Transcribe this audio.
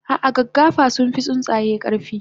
ah ah gaggafa sunfi tsuntsaye karfi